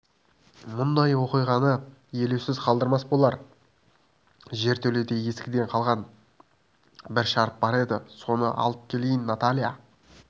мұндай оқиғаны елеусіз қалдырмас болар жертөледе ескіден қалған бір шарап бар еді соны алып келейін наталья